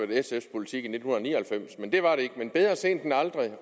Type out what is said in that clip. sfs politik i nitten ni og halvfems men det var det ikke men bedre sent end aldrig